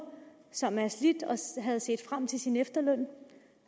som er slidt og havde set frem til sin efterløn